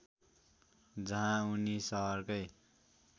जहाँ उनी सहरकै